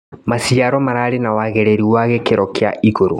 Maciaro mararĩ na wagĩrĩru wa gĩkĩro kia igũrũ.